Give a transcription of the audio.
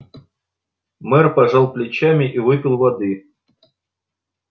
мэр пожал плечами и выпил воды